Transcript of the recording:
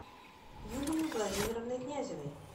юлией владимировной князевой